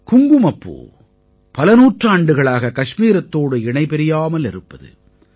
குங்குமப்பூ பல நூற்றாண்டுகளாக கஷ்மீரத்தோடு இணைபிரியாமல் இருப்பது